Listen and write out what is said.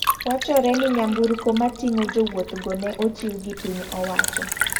Wachore ni nyamburko matingo jowuoth go ne ochiw gi piny owacho.